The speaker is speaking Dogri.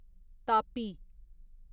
तापी